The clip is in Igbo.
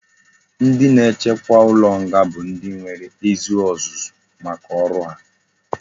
Ndi na echekwa ulo nga bu ndi enwere ezi ozuzu maka oru ha